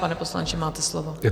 Pane poslanče, máte slovo.